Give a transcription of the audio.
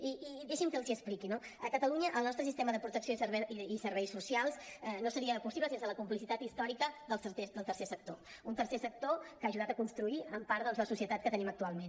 i deixin me que els hi expliqui no a catalunya el nostre sistema de protecció i serveis socials no seria possible sense la complicitat històrica del tercer sector un tercer sector que ha ajudat a construir en part doncs la societat que tenim actualment